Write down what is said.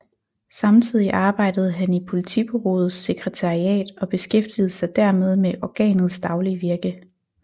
Samtidig arbejdede han i Politbureauets sekretariat og beskæftigede sig dermed med organets daglige virke